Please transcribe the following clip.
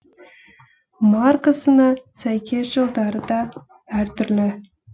маркасына сәйкес жылдары да әр түрлі